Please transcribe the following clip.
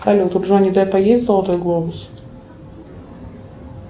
салют у джонни деппа есть золотой глобус